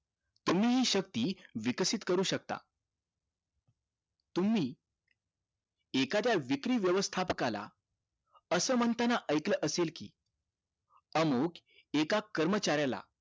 तुम्ही हि शक्ती विकसित करू शकता तुम्ही एखाद्या विक्री वेवस्थापकाला असं म्हणताना ऐकलं असेल कि अमुख एका कर्मचाऱ्याला